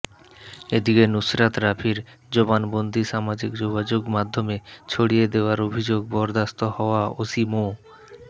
এদিকে নুসরাত রাফির জবানবন্দী সামাজিক যোগাযোগ মাধ্যমে ছড়িয়ে দেয়ার অভিযোগে বরখাস্ত হওয়া ওসি মো